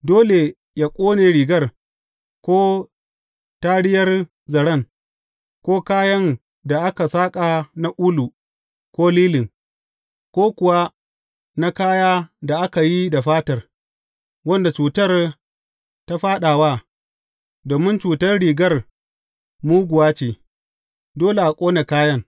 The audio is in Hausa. Dole yă ƙone rigar, ko tariyar zaren, ko kayan da aka saƙa na ulu ko lilin, ko kuwa na kaya da aka yi da fatar, wanda cutar ta fāɗa wa, domin cutar rigar muguwa ce, dole a ƙone kayan.